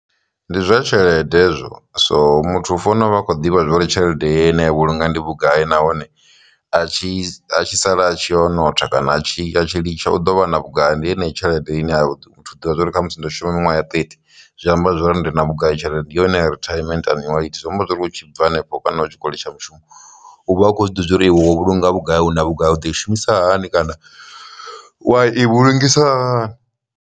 Ndi zwa tshelede hezwo so muthu u fanela u vha a kho ḓivha zwori tshelede ine ya vhulunga ndi vhugai nahone a tshi a tshi sala a tshi o notha kana a tshi tshi litsha u ḓo vha na vhugai, ndi heneyo tshelede ine a ḓivha zwori kha musi ndo shuma miṅwe ya thirty zwi amba zwori ndi na vhugai tshelede ndi yone ri treatment annuity zwi amba zwori hu tshi bva hanefho kana u tshikoli tsha mushumo u vha a khou zwi ḓivha uri iwe wo vhulunga vhugai nga vhugai u ḓo i shumisa hani kana wa i vhu lungisa hani.